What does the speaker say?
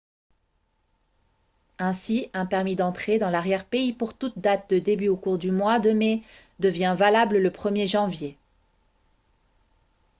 ainsi un permis d'entrée dans l'arrière-pays pour toute date de début au cours du mois de mai devient valable le 1er janvier